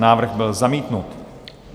Návrh byl zamítnut.